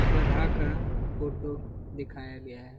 गधा का फोटो दिखाया गया है।